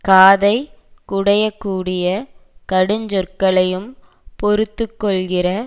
காதைக் குடையக்கூடிய கடுஞ்சொற்களையும் பொறுத்து கொள்கிற